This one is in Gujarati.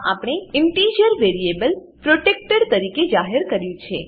આમાં આપણે ઇન્ટીજર વેરીએબલ પ્રોટેક્ટેડ પ્રોટેક્ટેડ તરીકે જાહેર કર્યું છે